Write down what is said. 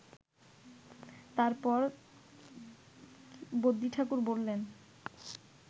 তারপর বদ্যিঠাকুর বললেন